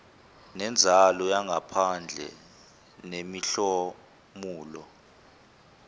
nenzalo yangaphandle nemihlomulo